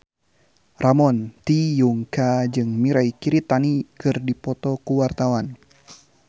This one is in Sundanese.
Ramon T. Yungka jeung Mirei Kiritani keur dipoto ku wartawan